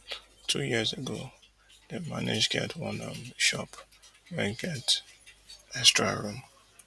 two years ago dem manage get one um shop wey get extra room